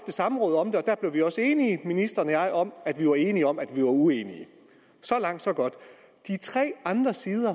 samråd om det der blev ministeren og jeg om at vi var enige om at vi var uenige så langt så godt de tre andre sider